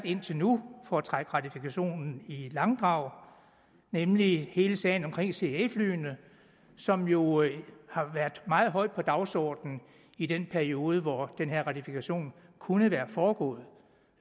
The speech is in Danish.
indtil nu for at trække ratifikationen i langdrag nemlig hele sagen omkring cia flyene som jo har været meget højt på dagsordenen i den periode hvor den her ratifikation kunne have foregået